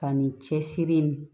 Ka nin cɛsiri in